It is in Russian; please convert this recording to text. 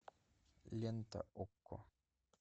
лента окко